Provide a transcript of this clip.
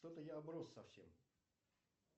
что то я оброс совсем